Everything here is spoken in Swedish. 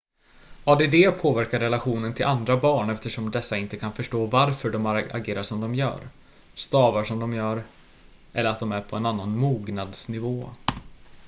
add påverkar relationen till andra barn eftersom dessa inte kan förstå varför de agerar som de gör stavar som de gör eller att de är på en annan mognadsnivå